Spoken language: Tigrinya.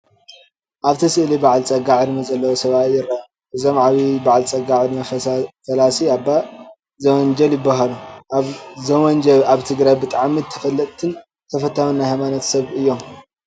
ኣብቲ ስእሊ በዓል ፀጋ ዕድመ ዘለዎ ሰብኣይ ይርአ። እዞም ዓብይ በዓል ፀጋ ዕድመ ፈላሲ ኣባ ዘውንጀል ይባሃሉ። ኣባ ዘውንጀ ኣብ ትግራይ ብጣዕሚ ተፈላጥን ተፈታውን ናይ ሃይማኖት ሰብ እዮም።